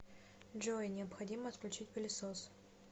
джой необходимо отключить пылесос